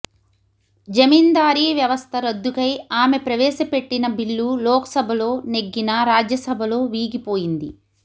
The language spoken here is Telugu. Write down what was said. జమీందారీ వ్యవస్థ రద్దుకై ఆమె ప్రవేశపెట్టిన బిల్లు లోక్సభలో నెగ్గినా రాజ్యసభలో వీగిపోయింది